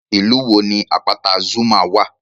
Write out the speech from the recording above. Ìlú wo ni àpáta Zuma wà?